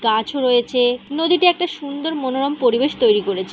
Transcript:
গাছও রয়েছে-এ নদীটি একটি সুন্দর মনোরম পরিবেশ তৈরী করেছে --